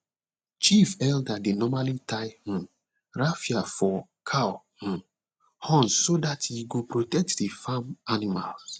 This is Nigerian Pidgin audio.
chief elder dey normally tie um raffia for cow um horns so that e go protect the farm animals